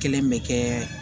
Kelen bɛ kɛ